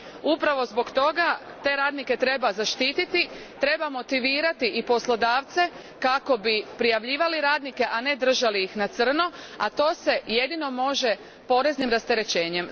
Upravo zbog toga te radnike treba zaštititi, treba motivirati i poslodavce kako bi prijavljivali radnike, a ne držali ih na crno, a to se jedino može poreznim rasterećenjem.